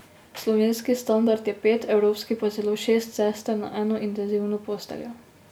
Slovenski standard je pet, evropski pa celo šest sester na eno intenzivno posteljo.